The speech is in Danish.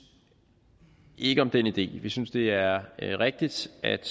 ikke om den idé vi synes at det er rigtigt at